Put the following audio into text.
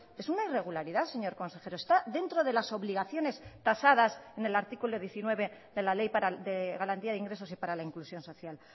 es una irregularidad señor consejero está dentro de las obligaciones tasadas en el artículo diecinueve de la ley de garantía de ingresos y para la inclusión social